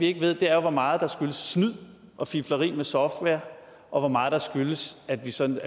ikke ved er hvor meget der skyldes snyd og fifleri med software og hvor meget der skyldes at vi som